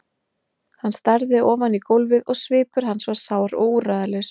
Hann starði ofan í gólfið og svipur hans var sár og úrræðalaus.